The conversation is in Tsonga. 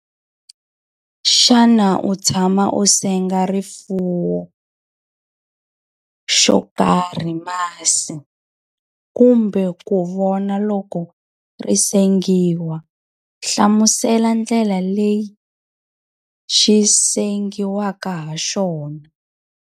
Xana u tshama u senga rifuwo xo karhi masi, kumbe ku vona loko ri sengiwa? Nhlamusela ndlela leyi xi sengiwaka ha xona.